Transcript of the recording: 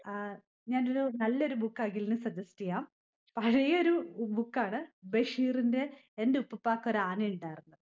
ആഹ് ഞാനൊരു നല്ലൊരു book അഖിലിന് suggest ചെയാം. പഴയൊരു book ആണ്. ബഷീറിന്റെ എൻ്റെ ഉപ്പൂപ്പാക്കൊരാനേണ്ടായിരുന്നു.